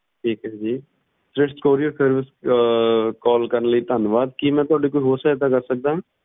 ਠੀਕ ਏ ਜੀ ਸ੍ਰਿਸ਼ਟ courierservice ਚ ਕਰਨ ਲਈ ਧੰਨਵਾਦ ਕੀ ਮੈਂ ਤੁਹਾਡੀ ਕੋਈ ਹੋਰ ਸਹਾਇਤਾ ਕਰ ਸਕਦਾ